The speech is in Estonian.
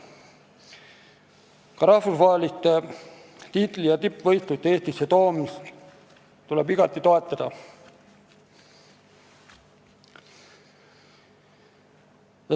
Ka rahvusvaheliste tiitli- ja tippvõistluste Eestisse toomist tuleb igati toetada.